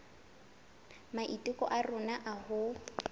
maiteko a rona a ho